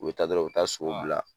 U be taa dɔrɔ u be taa so bila.